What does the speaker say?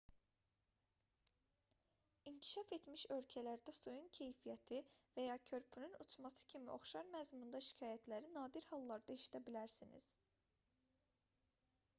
i̇nkişaf etmiş ölkələrdə suyun keyfiyyəti və ya körpünün uçması kimi oxşar məzmunda şikayətləri nadir hallarda eşidə bilərsiniz